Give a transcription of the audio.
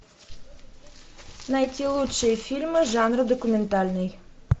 найти лучшие фильмы жанра документальный